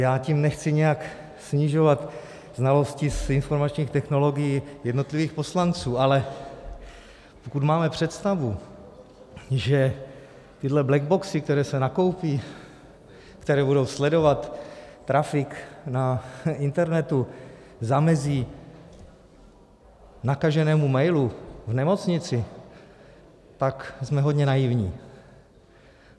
Já tím nechci nijak snižovat znalosti z informačních technologií jednotlivých poslanců, ale pokud máme představu, že tyhle blackboxy, které se nakoupí, které budou sledovat traffic na internetu, zamezí nakaženému mailu v nemocnici, pak jsme hodně naivní.